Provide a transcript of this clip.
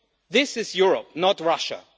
This is Europe, not Russia.